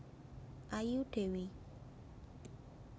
Ayu Dewi